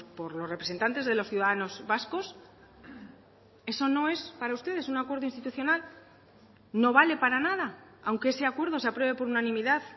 por los representantes de los ciudadanos vascos eso no es para ustedes un acuerdo institucional no vale para nada aunque ese acuerdo se apruebe por unanimidad